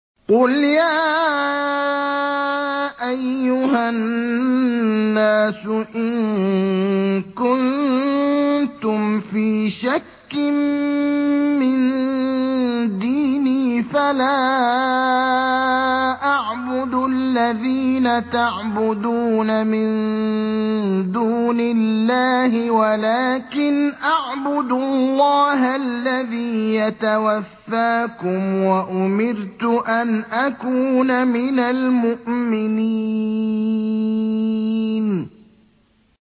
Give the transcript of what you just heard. قُلْ يَا أَيُّهَا النَّاسُ إِن كُنتُمْ فِي شَكٍّ مِّن دِينِي فَلَا أَعْبُدُ الَّذِينَ تَعْبُدُونَ مِن دُونِ اللَّهِ وَلَٰكِنْ أَعْبُدُ اللَّهَ الَّذِي يَتَوَفَّاكُمْ ۖ وَأُمِرْتُ أَنْ أَكُونَ مِنَ الْمُؤْمِنِينَ